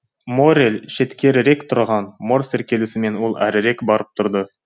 моррель шеткерірек тұрған морсер келісімен ол әрірек барып тұрды